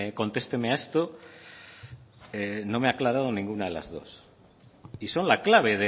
contesteme a esto no me ha aclarado ninguna de las dos y son la clave